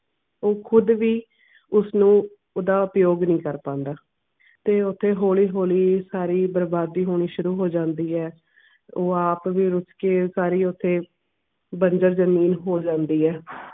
ਉਹ ਖੁਦ ਵੀ ਉਸ ਨੂੰ ਓਹਦਾ ਪਿਓ ਕਰ ਪਾਂਦਾ ਹੈ ਤੇ ਉੱਤੋਂ ਹੌਲੀ ਹੌਲੀ ਸਾਰੀ ਬਰਬਾਦੀ ਹੋਣੀ ਸ਼ੁਰੂ ਹੋ ਜਾਂਦੀ ਐ ਉਹ ਆਪ ਵੀ ਵਿਚ ਹੀ ਸਾਰੇ ਓਥੈ ਵਾਰੀ ਵਾਰੀ ਹੋ ਜਾਂਦੀ ਐ